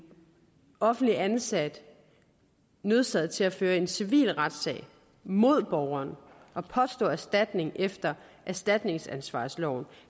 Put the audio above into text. offentligt ansat nødsaget til at føre en civil retssag mod borgeren og påstå erstatning efter erstatningsansvarsloven